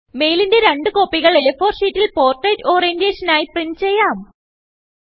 മെയിലിന്റെ രണ്ട് കോപ്പികൾ A4ഷീറ്റിൽ Portraitഓറിയന്റെഷൻ ആയി പ്രിന്റ് ചെയ്യാം